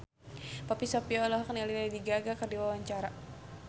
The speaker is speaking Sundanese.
Poppy Sovia olohok ningali Lady Gaga keur diwawancara